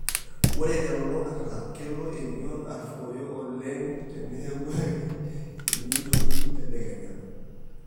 Ore telulung'ata, Kelo emion aruoyo oleng teneeku ake einyioitoki tedekenya.